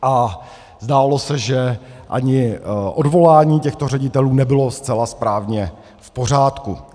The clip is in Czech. A zdálo se, že ani odvolání těchto ředitelů nebylo zcela správně v pořádku.